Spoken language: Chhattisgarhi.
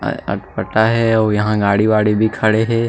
अटपटा हे आउ यहाँ गाड़ी वाड़ी भी खड़े हे